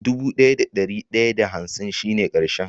Dubu daya da dari daya da hansin shi ne karshen.